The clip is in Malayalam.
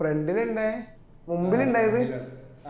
front ലാ ഇണ്ടായെ മുമ്പില് ഇണ്ടായത്